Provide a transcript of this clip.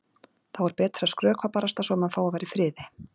Þá er betra að skrökva barasta svo að maður fái að vera í friði.